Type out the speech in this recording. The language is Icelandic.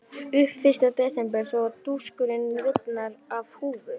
Lýk upp fyrsta desember svo dúskur rifnar af húfu.